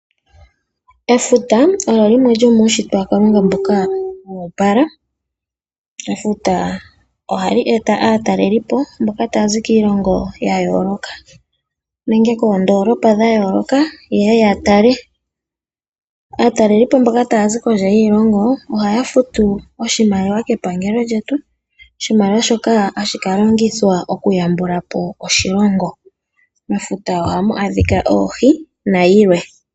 Efuta olyo limwe lyomuunshitwe waKalunga mboka woopala. Efuta ohali eta aatalelipo mboka taya zi kiilongo ya yooloka nenge koondolopa dha yooloka, yeye ya tale . Aatalelipo mboka taya zi kondje yiilongo ohaya futu oshimaliwa kepangalo lyetu. Oshimaliwa shoka ohashi ka longithwa okuyambula po oshilongo. Mefuta ohamu adhika oohi nayilwe.